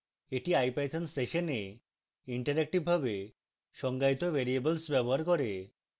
এটি ipython সেশনে ইন্টারেক্টিভভাবে সংজ্ঞায়িত variables ব্যবহার করে